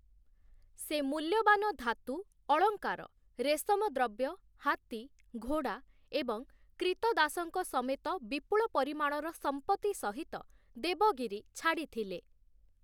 ସେ ମୂଲ୍ୟବାନ ଧାତୁ, ଅଳଙ୍କାର, ରେଶମ ଦ୍ରବ୍ୟ, ହାତୀ, ଘୋଡ଼ା ଏବଂ କ୍ରୀତଦାସଙ୍କ ସମେତ ବିପୁଳ ପରିମାଣର ସମ୍ପତ୍ତି ସହିତ ଦେବଗିରି ଛାଡ଼ିଥିଲେ ।